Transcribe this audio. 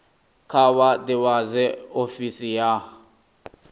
kha vha ḓivhadze ofisi ya